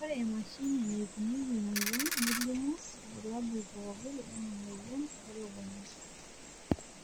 ore emashini naipimieki imoyiaritin nelimu irbulabol pookin lena moyian elukunya.